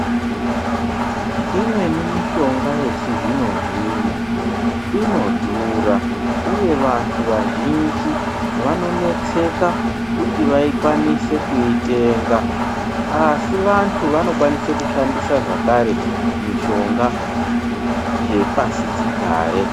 Imweni mishonga yechizvino-zvino inodhura, uye vantu vazhinji vanonetseka kuti vakwanise kuitenga. Asi vantu vanokwanise kushandisa zvakare mishonga yepasi chigare.